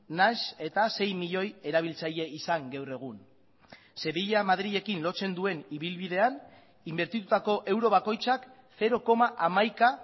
nahiz eta sei milioi erabiltzaile izan gaur egun sevilla madrilekin lotzen duen ibilbidean inbertitutako euro bakoitzak zero koma hamaika